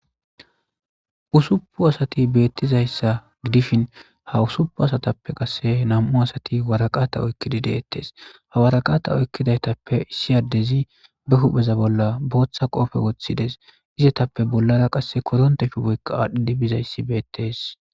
usupu asati beettizayssa gidishin ha usupu asatappe qasse nam7u asati waraqata oykkidi deettes hawaraqata oykkidaytappe issi yadezi be hupheza bolla booththa qoofe woththides izetappe bollara qasse koronte shu boykka aadhdhidi bizayssi beettes